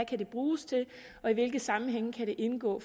kan bruges til og hvilke sammenhænge det kan indgå